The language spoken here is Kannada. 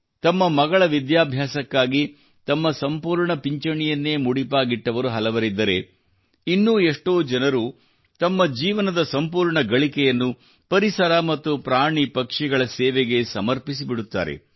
ತಮ್ಮ ಮಗಳ ವಿದ್ಯಾಭ್ಯಾಸಕ್ಕಾಗಿ ತಮ್ಮ ಸಂಪೂರ್ಣ ಪಿಂಚಣಿಯನ್ನೇ ಮುಡಿಪಾಗಿಟ್ಟವರು ಹಲವರಿದ್ದರೆ ಇನ್ನೂ ಎಷ್ಟೋ ಜನರು ತಮ್ಮ ಜೀವನವದ ಸಂಪೂರ್ಣ ಗಳಿಕೆಯನ್ನು ಪರಿಸರ ಮತ್ತು ಪ್ರಾಣಿ ಪಕ್ಷಿಗಳ ಸೇವೆಗೆ ಸಮರ್ಪಿಸಿಬಿಡುತ್ತಾರೆ